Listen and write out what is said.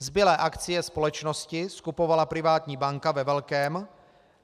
Zbylé akcie společnosti skupovala privátní banka ve velkém.